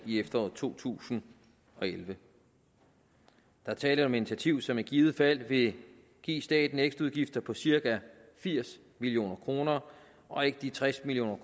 i efteråret to tusind og elleve der er tale om et initiativ som i givet fald vil give staten ekstraudgifter på cirka firs million kroner og ikke de tres million